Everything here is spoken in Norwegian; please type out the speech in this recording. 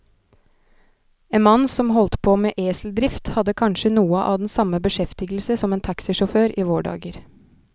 En mann som holdt på med eseldrift, hadde kanskje noe av den samme beskjeftigelse som en taxisjåfør i våre dager.